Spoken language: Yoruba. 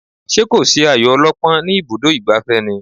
Ṣé kò sí ayo ọlọ́pọ́n ní ibùdó ìgbafẹ́ ni?